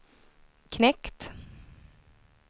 knekt